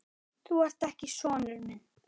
Þú ert ekki sonur minn.